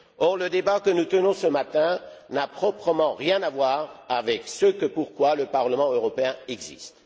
Or, le débat que nous tenons ce matin n'a proprement rien à voir avec ce pourquoi le Parlement européen existe.